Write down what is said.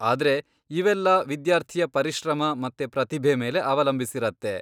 ಆದ್ರೆ ಇವೆಲ್ಲ ವಿದ್ಯಾರ್ಥಿಯ ಪರಿಶ್ರಮ ಮತ್ತೆ ಪ್ರತಿಭೆ ಮೇಲೆ ಅವಲಂಬಿಸಿರತ್ತೆ.